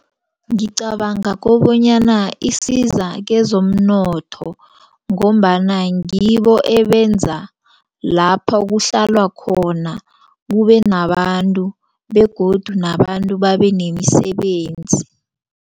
Ngicabanga kobonyana isiza kezomnotho ngombana ngibo ebenza lapha kuhlalwa khona kubenabantu begodu nabantu babenemisebenzi.